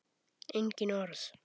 Engin orð.